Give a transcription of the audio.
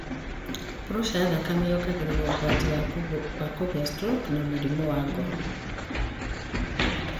Purusha ya thakame yongagĩrĩra ũgwati wa kũgĩa stroke na mĩrimũ ya ngoro.